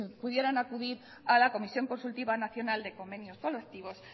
pudieran acudir a la comisión consultiva nacional de convenios colectivos